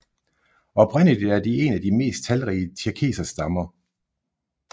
Oprindeligt er de en af de mest talrige tjerkesserstammer